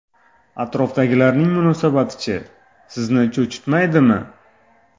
Atrofdagilarning munosabati-chi, sizni cho‘chitmaydimi?